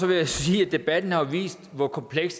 vil jeg sige at debatten jo har vist hvor kompleks